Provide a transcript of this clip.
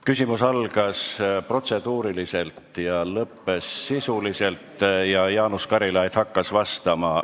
Küsimus algas protseduuriliselt ja lõppes sisuliselt ning Jaanus Karilaid hakkas vastama.